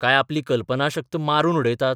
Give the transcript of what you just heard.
काय आपली कल्पनाशक्त मारून उडयतात?